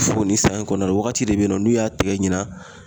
Fo ni san in kɔnɔ wagati de be yen nɔ, n'u y'a tɛgɛ ɲina